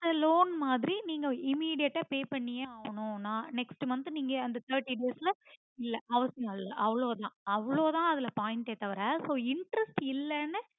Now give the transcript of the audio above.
ஆஹ் loan மாதிரி நீங்க immediate ஆ pay பண்ணியே ஆகணும் next month அந்த thirty days ல இல்ல அவசியமில்லை அவ்ளோதா அதுல point எ தவற so interest இல்லனு